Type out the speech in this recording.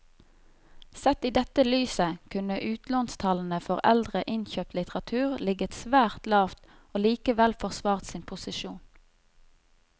Sett i dette lyset kunne utlånstallene for eldre innkjøpt litteratur ligget svært lavt og likevel forsvart sin posisjon.